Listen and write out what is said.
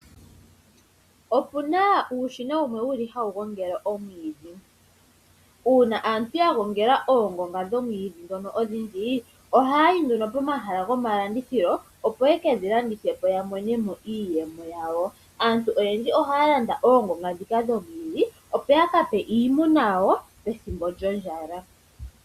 Opu na uushina wumwe mbono hawu gongele oomwiidhi. Uuna aantu ya gongela oongonga dhoomwiidhi ndhono odhindji ohaya yi nduno komahala gomalandithilo opo ye kedhi landithe po ya mone mo iiyemo yawo. Aantu oyendji ohaya landa oongonga ndhika dhomwiidhi opo ya ka pe iimuna yawo pethimbo lyondjala.